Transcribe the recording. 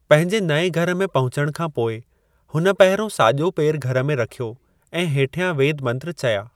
पंहिंजे नएं घर में पहुचण खां पोइ, हुन पंहिरों साॼो पैरु घर में रख्‍यो ऐं हेठ्यां वेद मंत्र चया।